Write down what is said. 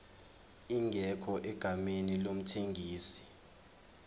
ingekho egameni lomthengisi